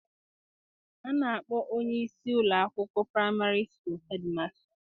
A na-akpọ onye isi ụlọ akwụkwọ praịmarị hedmasta